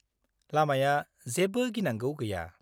लामाया जेबो गिनांगौ गैया।